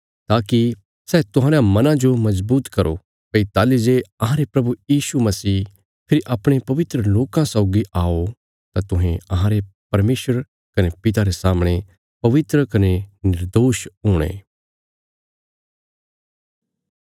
ताकि सै तुहांरयां मनां जो मजबूत करो भई ताहली जे अहांरे प्रभु यीशु मसीह फेरी अपणे पवित्र लोकां सौगी आओ तां तुहें अहांरे परमेशर कने पिता रे सामणे पवित्र कने निर्दोष हुणे